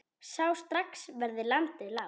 Sá strax hvernig landið lá.